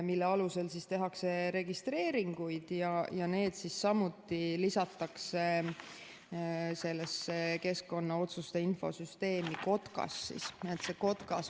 Nende alusel tehakse registreeringuid ja need lisatakse samuti keskkonnalubade infosüsteemi KOTKAS.